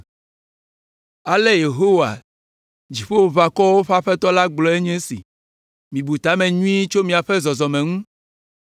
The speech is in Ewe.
Ale Yehowa, Dziƒoʋakɔwo ƒe Aƒetɔ la gblɔe nye esi, “Mibu ta me nyuie tso miaƒe zɔzɔme ŋu.